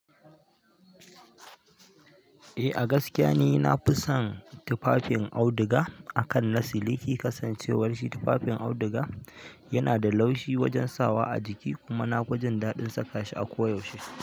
Eh, a gaskiya ne na fi son tufafin auduga akan na siliki. Kasancewar shi tufafin auduga yana da laushi wajen sawa a jiki kuma na fi jin daɗin saka shi a koyaushe.